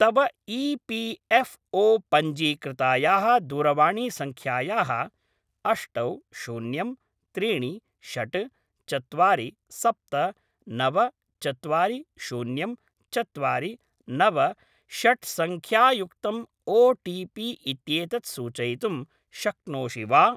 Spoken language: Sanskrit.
तव ई.पी.एफ़्.ओ. पञ्जीकृतायाः दूरवाणीसङ्ख्यायाः अष्टौ शून्यं त्रीणि षट् चत्वारि सप्त नव चत्वारि शून्यं चत्वारि नव षट्सङ्ख्यायुक्तम् ओटीपी इत्येतत् सूचयितुं शक्नोषि वा?